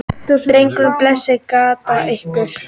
Drengir, blessaðir gætið ykkar.